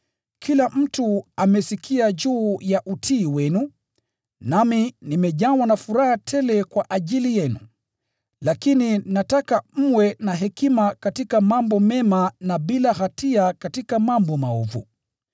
Kila mtu amesikia juu ya utii wenu, nami nimejawa na furaha tele kwa ajili yenu. Lakini nataka mwe na hekima katika mambo mema na bila hatia katika mambo maovu.